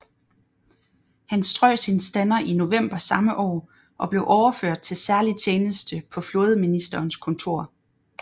Han strøg sin stander i november samme år og blev overført til særlig tjeneste på flådeministerens kontor